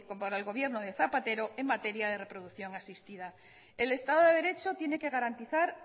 por el gobierno de zapatero en materia de reproducción asistida el estado de derecho tiene que garantizar